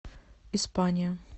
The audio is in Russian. испания